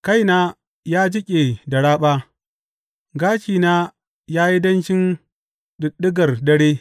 Kaina ya jiƙe da raɓa, gashina ya yi danshin ɗiɗɗigar dare.